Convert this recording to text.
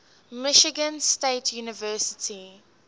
michigan state university